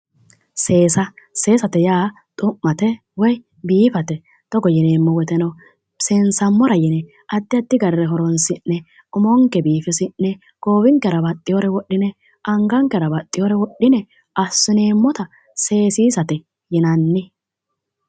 Seesa, seesate yaa xu'mate woyi biifate togo yineemmo woteno seensammora yine addi addi garire horonsi'ne umonke biifisi'ne goowinkera baxxewoore wodhine angankera baxxewoore wodhine assineemmota seesiisate yinanni.